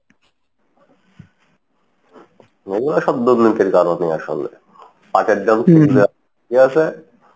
এগুলা সব দুর্নীতির কারণে আসলে পাটের দাম